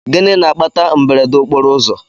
Gịnị na-akpata mberede okporoụzọ?